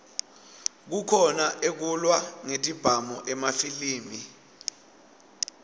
kukhona ekulwa ngetibhamu emafilimi